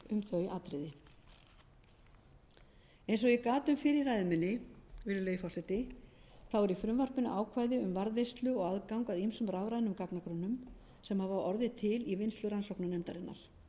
um þau atriði eins og ég gat um fyrr í ræðu minni virðulegi forseti er í frumvarpinu ákvæði um varðveislu og aðgang að ýmsum rafrænum gagnagrunnum sem hafa orðið til í vinnslu rannsóknarnefndarinnar gagnagrunnar þessir